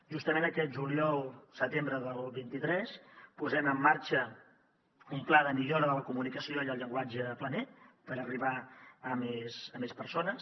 justament aquest juliol setembre del vint tres posem en marxa un pla de millora de la comunicació i el llenguatge planer per arribar a més persones